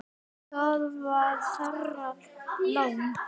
Það var þeirra lán.